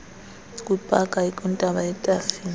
kwipaka ekwintaba yetafile